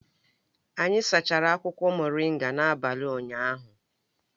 Anyị sachara akwụkwọ moringa n'abalị ụnyaahụ